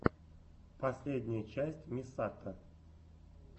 последняя часть мисато